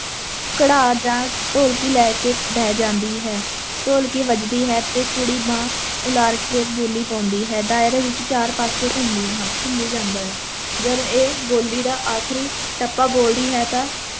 ਘੜਾ ਜਾਂ ਢੋਲਕੀ ਲੈ ਕੇ ਬਹਿ ਜਾਂਦੀ ਹੈ, ਢੋਲਕੀ ਵੱਜਦੀ ਹੈ ਤੇ ਕੁੜੀ ਬਾਂਹ ਉਲਾਰ ਕੇ ਬੋਲੀ ਪਾਉਂਦੀ ਹੈ, ਦਾਇਰੇ ਵਿੱਚ ਚਾਰੇ ਪਾਸੇ ਘੁੰਮਦੀਆਂ ਹਨ, ਘੁੰਮੀ ਜਾਂਦਾ ਹੈ, ਜਦ ਇਹ ਬੋਲੀ ਦਾ ਆਖ਼ਰੀ ਟੱਪਾ ਬੋਲਦੀ ਹੈ ਤਾਂ